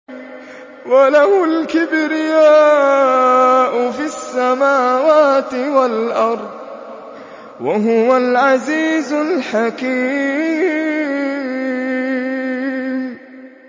وَلَهُ الْكِبْرِيَاءُ فِي السَّمَاوَاتِ وَالْأَرْضِ ۖ وَهُوَ الْعَزِيزُ الْحَكِيمُ